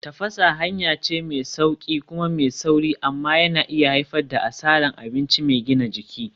Tafasa hanya ce mai sauƙi kuma mai sauri amma yana iya haifar da asarar abinci mai gina jiki.